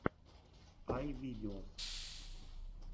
ай видеос